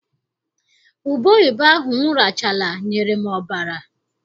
Ubeoyibo ahụ m rachala nyere m ọbara.